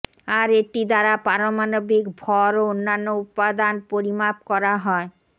আর এটি দ্বারা পারমাণবিক ভর ও অন্যান্য উপাদান পরিমাপ করা হয়